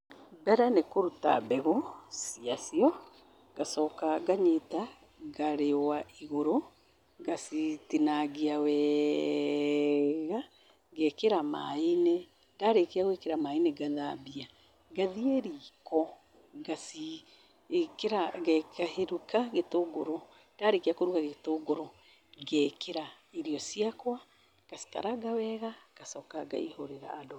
Mbere nĩ kũruta mbegũ cia cio. Ngacoka nganyita, ngaciũa igũrũ, ngacitingangia wega, ngaĩkĩra maaĩ-inĩ. Ndarĩkia gwĩkĩra maaĩ-inĩ, ngathambia. Ngathiĩ riiko ngaci- ĩkĩra, ngaruga gĩtũngũrũ. Ndarĩkĩa kũruga gĩtũngũrũ, ngaĩkĩra irio ciakwa, ngacikaranga wega, ngacoka ngaihũrĩra andũ.